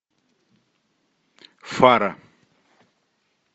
фара